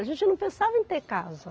A gente não pensava em ter casa.